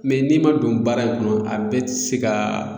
n'i ma don baara in kɔnɔ a bɛ ti se ka